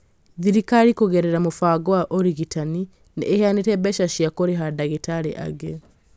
thirikari kũgerera mũbango wa ũrigitani nĩ ĩheanĩte mbeca cia kũrĩha ndagĩtarĩ angĩ